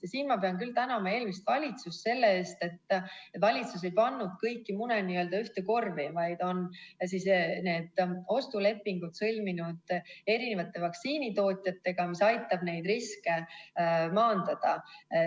Ja siin ma pean küll tänama eelmist valitsust selle eest, et valitsus ei pannud kõiki mune ühte korvi, vaid on need ostulepingud sõlminud erinevate vaktsiinitootjatega, mis aitab riske maandada.